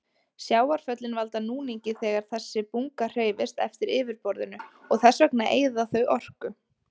Sjávarföllin valda núningi þegar þessi bunga hreyfist eftir yfirborðinu og þess vegna eyða þau orku.